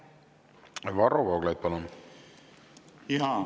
Varro Vooglaid, palun!